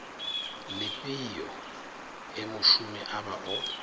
lifhio he mushumi avha o